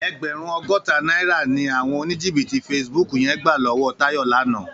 Ègbèrún ógótá nàirá ni áwòn ónìjíbìtí fésibúk yèn gbá lòwò Tayo làná